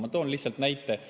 Ma toon lihtsalt näite.